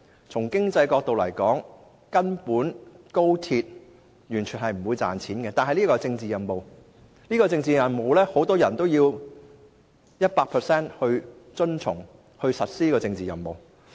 從經濟角度來說，高鐵根本無利可圖，只是一項政治任務。然而，很多人必須百分百遵從並實施這項政治任務。